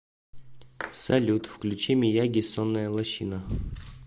салют включи мияги сонная лощина